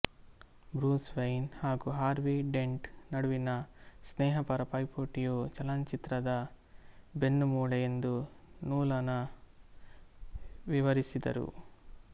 Bruce Wayne ಮತ್ತು Harvey Dent ನಡುವಿನ ಸ್ನೇಹಪರ ಪೈಪೋಟಿಯು ಚಲನಚಿತ್ರದ ಬೆನ್ನುಮೂಳೆ ಎಂದು ನೋಲನ ವಿವರಿಸಿದರು